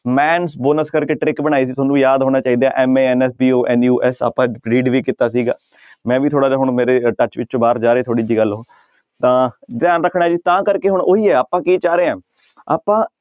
mans bonus ਕਰਕੇ trick ਬਣਾਈ ਸੀ ਤੁਹਾਨੂੰ ਯਾਦ ਹੋਣਾ ਚਾਹੀਦਾ ਹੈ M A N S, B O N U S ਆਪਾਂ read ਵੀ ਕੀਤਾ ਸੀਗਾ ਮੈਂ ਵੀ ਥੋੜ੍ਹਾ ਜਿਹਾ ਹੁਣ ਮੇਰੇ touch ਵਿੱਚੋਂ ਬਾਹਰ ਜਾ ਰਹੀ ਥੋੜ੍ਹੀ ਜਿਹੀ ਗੱਲ ਉਹ ਤਾਂ ਧਿਆਨ ਰੱਖਣਾ ਜੀ ਤਾਂ ਕਰਕੇ ਹੁਣ ਉਹੀ ਹੈ ਆਪਾਂ ਕੀ ਚਾਹ ਰਹੇ ਹਾਂ ਆਪਾਂ